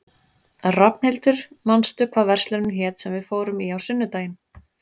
Rafnhildur, manstu hvað verslunin hét sem við fórum í á sunnudaginn?